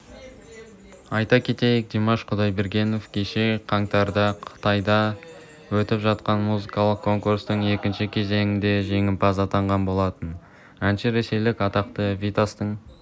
айта кетейік димаш құдайбергенов кеше қаңтарда қытайда өтіп жатқан музыкалық конкурсының екінші кезеңінде де жеңімпаз атанған болатын әнші ресейлік атақты витастың